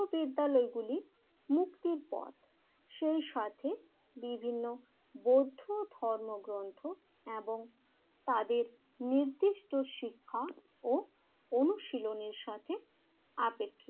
বিদ্যালয়গুলি মুক্তির পথ। সেই সাথে বিভিন্ন বৌদ্ধ ধর্মগ্রন্থ এবং তাদের নির্দিষ্ট শিক্ষা ও অনুশীলনের সাথে আপেক্ষিক